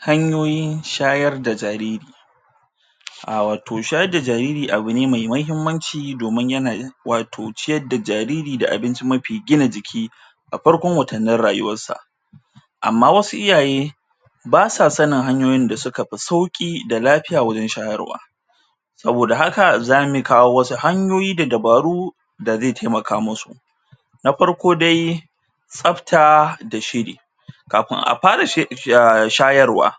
Hanyoyin shayar da jariri a wato shayar da jariri abu ne mai mahimmanci domin yana wato ciyar da jariri da abinci mafi gina jiki a farkon watannin rayuwar sa amma wasu iyaye ba sa sanin hanyoyin da suka fi sauƙi da lafiya wajen shayarwa saboda haka zamu kawo wasu hanyoyi da dabaru da zai taimaka musu na farko dai tsafta da shiri kafin a fara shayarwa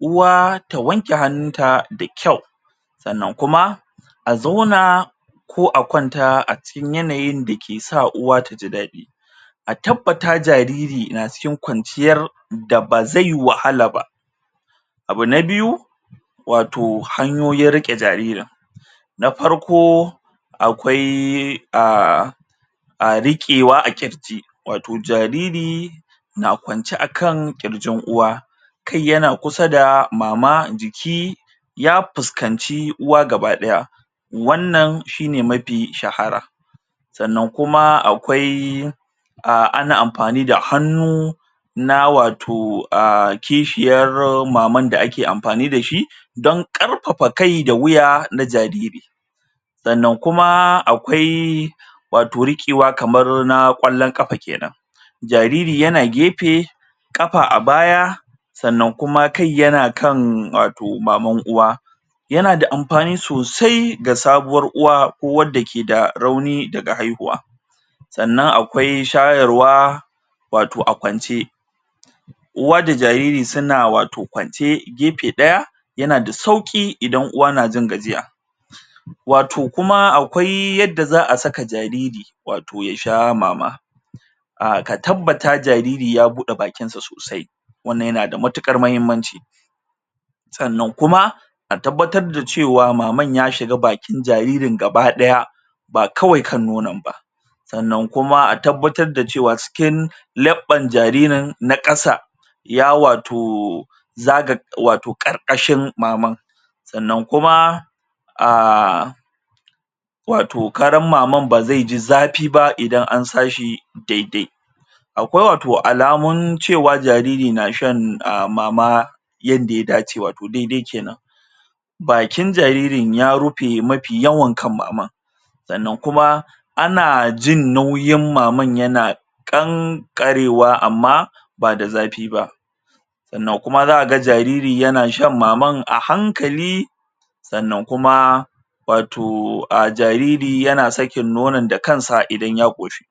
uwa ta wanke hannunta da kyau sannan kuma a zauna ko a kwanta acikin yananyin da ke sa uwa taji daɗi a tabbata jariri na cikin kwanciyar da ba zai wahala ba abu na biyu wato hanyoyin riƙe jaririn na farko akwai um a riƙewa a ƙirji wato jariri na kwance akan ƙirjin uwa kai yana kusa da mama jiki ya fuskanci uwa gabadaya wannan shine mafi shahara sanna kuma akwai a ana amfani da hannu na wato a kishiyar maman da ake amfani da shi don ƙarfafa kai da wuya na jariri sannan kuma akwai wato riƙewa kaman na kwallon kafa kenan jariri yana gefe kafa a baya sannan kuma kai yana kan wto maman uwa yana da amfani sosai ga sabuwar uwa ko wanda ke da rauni daga haihuwa sannan akwai shayarwa wato a kwance uwa da jariri suna wato kwance gefe ɗaya yana da sauƙi idan uwa na jin gajiya wato kuma akwai yanda za a saka jariri wato ya sha mama a ka tabbata jariri ya buɗe bakin sa sosai wannan yana da matuƙar muhimmanci sannan kuma a tabbabtar da cewa maman ya shiga bakin jaririn gabaɗaya ba kawai kan nonon ba sannan kuma a tabbatar da cewa cikin laɓɓan jaririn na ƙasa ya wato zaga wato ƙarƙashin maman sannan kuma um wato karan maman ba zai ji zafi ba idan an sa shi daidai akwai wato alamun cewa jariri na shan mama yanda ya dace wato daidai kenan bakin jaririn ya rufe mafi yawan kan maman sannan kuma ana jin nauyin maman yana ƙanƙarewa amma ba da zafi ba sannan kuma za kaga jariri yana shan maman a hankali sannan kuma wato a jariri yana sakin nonon da kansa idan ya ƙoshi